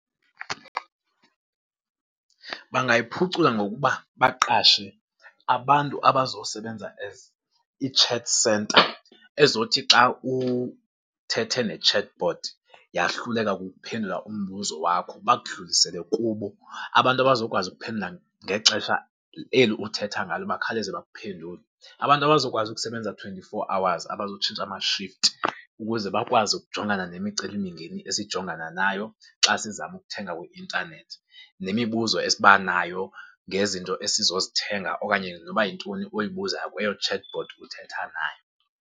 Bangayiphucula ngokuba baqashe abantu abazosebenza as i-chat centre, ezothi xa uthethe ne-chatbot yahluleka kukuphendula umbuzo wakho, bakudlulisele kubo. Abantu abazokwazi ukuphendula ngexesha eli uthetha ngalo, bakhawuleze bakuphendule. Abantu abazokwazi ukusebenza twenty-four hours abazotshintsha amashifti, ukuze bakwazi ukujongana nemicelimingeni esijongana nayo xa sizama ukuthenga kwi-intanethi, nemibuzo esibanayo ngezinto esizozithenga okanye noba yintoni oyibuza kwelo chatbot uthetha nayo.